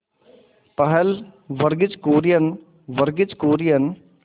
पहल वर्गीज कुरियन वर्गीज कुरियन